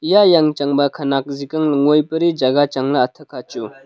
eya yang chang ba khanak zik ang ley ngoi peri jaga chang ley atha kha chu.